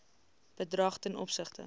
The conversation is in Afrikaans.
bedrag ten opsigte